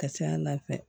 Ka ca ala fɛ